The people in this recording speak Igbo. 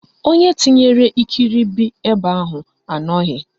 Onye tinyere ikiribi ebe ahụ anọghị